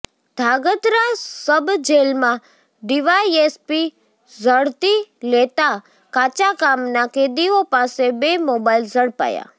ધ્રાગધ્રા સબજેલમા ડીવાયેસપી ઝડતી લેતા કાચાકામના કેદીઓ પાસે બે મોબાઇલ ઝડપાયા